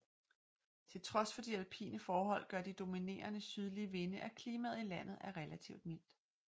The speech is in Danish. Til trods for de alpine forhold gør de dominerende sydlige vinde at klimaet i landet er relativt mildt